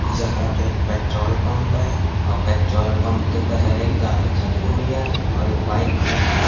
यहाँ एक petrol pump है और पेट्रोल पंप के पहले गाली खली हुई है और एक बाइक खली है।